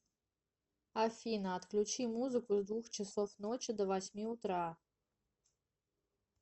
афина отключи музыку с двух часов ночи до восьми утра